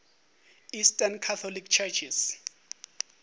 eastern catholic churches